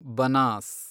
Banas